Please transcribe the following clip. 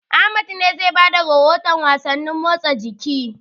Ahmad ne zai ba da rahotan wasannin motsa jiki.